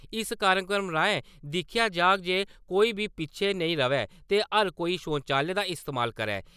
इस कार्यक्रम राएं दिक्खेआ जाह्ग ते कोई बी पिच्छै नेई र'वै ते हर कोई शौचालय दा इस्तेमाल करै।